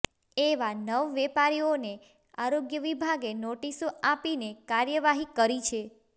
એવા નવ વેપારીઓને આરોગ્ય વિભાગે નોટિસો આપીને કાર્યવાહી કરી છે